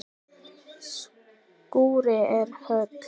Skúrinn er höll.